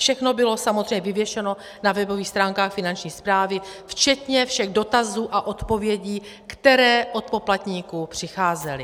Všechno bylo samozřejmě vyvěšeno na webových stránkách Finanční správy včetně všech dotazů a odpovědí, které od poplatníků přicházely